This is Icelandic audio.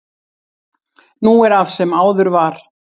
Nú er af sem áður var